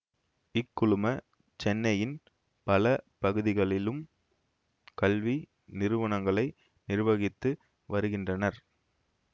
இக்குழும சென்னையின் பல பகுதிகளிலும் கல்வி நிறுவனங்களை நிர்வகித்து வருகின்றனர்